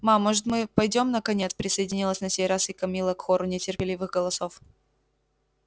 ма может быть пойдём наконец присоединилась на сей раз и камилла к хору нетерпеливых голосов